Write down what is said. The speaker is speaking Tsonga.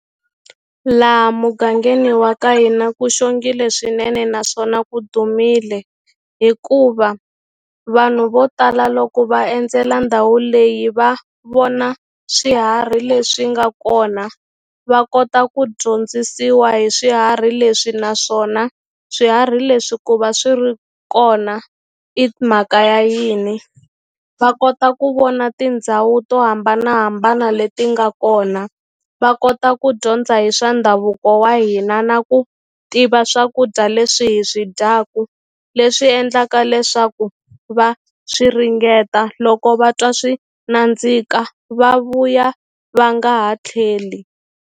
Laha mugangeni wa ka hina ku xongile swinene naswona ku dumile hikuva vanhu vo tala loko va endzela ndhawu leyi va vona swiharhi leswi nga kona va kota ku dyondzisiwa hi swiharhi leswi naswona swiharhi leswi ku va swi ri kona i mhaka ya yini va kota ku vona tindhawu to hambanahambana leti nga kona va kota ku dyondza hi swa ndhavuko wa hina na ku tiva swakudya leswi hi swi dyaku leswi endlaka leswaku va swi ringeta loko va twa swi nandzika va vuya va nga ha tlheli.